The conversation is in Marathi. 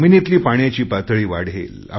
जमिनीतली पाण्याची पातळी वाढेल